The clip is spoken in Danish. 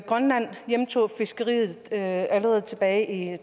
grønland hjemtog fiskeriet allerede tilbage i